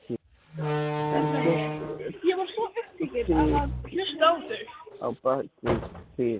Ekkert fitl á bak við þil núna.